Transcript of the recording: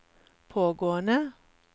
pågående